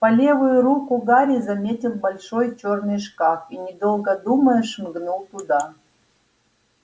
по левую руку гарри заметил большой чёрный шкаф и недолго думая шмыгнул туда